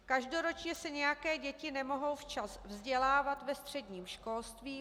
Každoročně se nějaké děti nemohou včas vzdělávat ve středním školství.